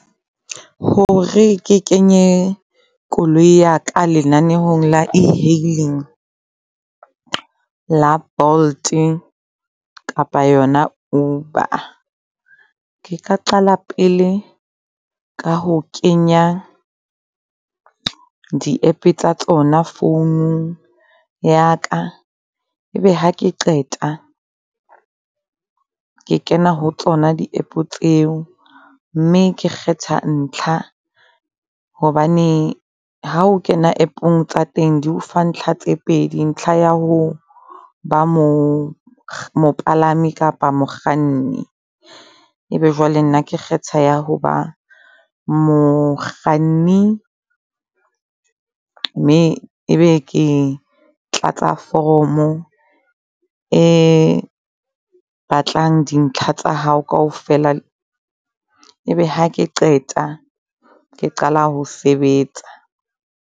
Hore ke kenye koloi yaka lenanehong la e-hailing la Bolt kapa yona Uber. Ke ka qala pele ka ho kenya di-app tsa tsona phone-ung yaka. E be hake qeta ke kena ho tsona di-app tseo mme ke kgetha ntlha hobane ha o kena app-ong tsa teng di o fa ntlha tse pedi. Ntlha ya ho ba mo mopalami kapa mokganni. E be jwale nna ke kgetha ya ho ba mokganni, mme ebe ke tlatsa foromo e batlang dintlha tsa hao kaofela. E be hake qeta ke qala ho sebetsa.